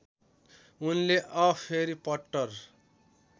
उनले अ भेरि पट्टर